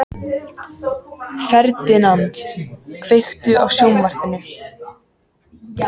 Ferdinand, kveiktu á sjónvarpinu.